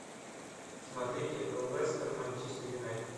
смотреть лестер манчестер юнайтед